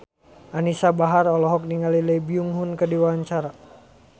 Anisa Bahar olohok ningali Lee Byung Hun keur diwawancara